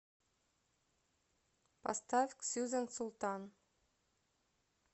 поставь ксюзан султан